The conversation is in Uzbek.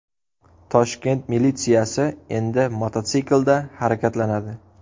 Toshkent militsiyasi endi mototsiklda harakatlanadi.